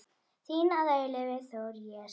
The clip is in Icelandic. Þinn að eilífu, Þór Jes.